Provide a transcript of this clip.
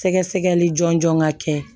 Sɛgɛsɛgɛli jɔnjɔn ka kɛ